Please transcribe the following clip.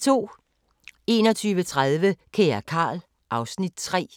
21:30: Kære Carl... (Afs. 3)